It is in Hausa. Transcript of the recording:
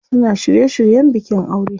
Suna shirye shiryen bikin aure.